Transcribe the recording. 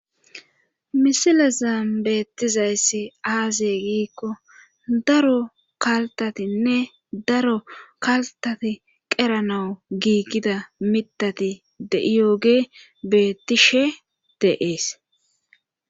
Misilezan beettizayssi aaze giikko daro kaltatinne daro kaltati qeranawu giiggida mitati deiyoge bettiishshe de'ees